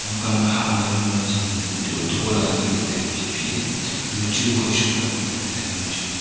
kamkha ma hah ma ngo a chem mandat pu thai kohley thola ka dat lahley tailey phih phihley anowchu khoi shuk ngan lahley tailey hamachu.